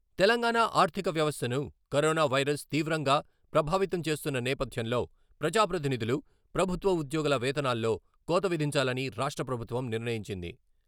తెలంగాణ ఆర్థిక వ్యవస్థను corona virus తీవ్రంగా ప్రభావితం చేస్తున్న నేపథ్యంలో ప్రజాప్రతినిధులు, ప్రభుత్వ ఉద్యోగుల వేతనాల్లో కోత విధించాలని రాష్ట్రప్రభుత్వం నిర్ణయించింది.